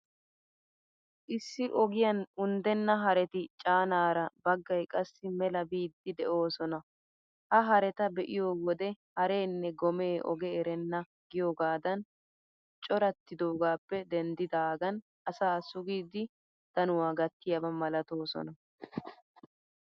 Issi ogiyan unddenna hareti caanaara, baggay qassi mela biiddi de'oosona. Ha hareta be'iyo wode ''hareenne gomee oge erenna'' giyoogaadan corattidogaappe denddidaagan asaa sugidi, danuwaa gattiyaaba malatoosona.